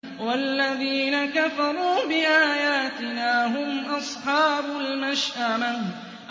وَالَّذِينَ كَفَرُوا بِآيَاتِنَا هُمْ أَصْحَابُ الْمَشْأَمَةِ